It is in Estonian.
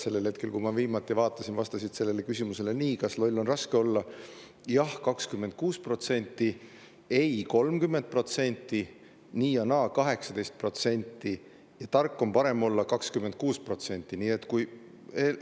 Sellel hetkel, kui ma viimati vaatasin, vastasid küsimusele "Kas loll on raske olla?" jah 26%, ei 30%, nii ja naa 18% ning 26% tark on parem olla.